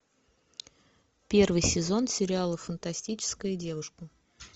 первый сезон сериала фантастическая девушка